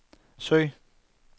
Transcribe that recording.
søg